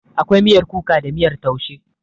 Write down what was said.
Akwai miyar kuka da kuma miyar taushe.